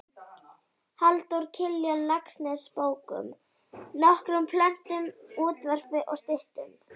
Halldór Kiljan Laxness bókum, nokkrum plöntum, útvarpi og styttum.